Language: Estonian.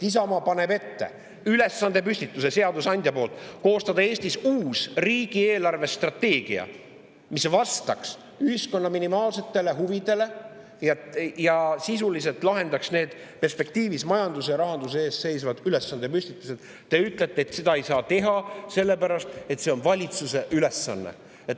Isamaa paneb ette ülesandepüstituse seadusandja poolt koostada Eestis uus riigi eelarvestrateegia, mis vastaks ühiskonna minimaalsetele huvidele ja sisuliselt lahendaks majanduses ja rahanduses ees seisvad, ja te ütlete, et seda ei saa teha sellepärast, et see on valitsuse ülesanne.